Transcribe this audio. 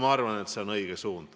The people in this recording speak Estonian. Ma arvan, et see on õige suund.